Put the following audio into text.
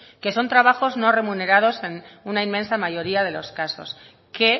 que son trabajos no remunerados en una inmensa mayoría de los casos que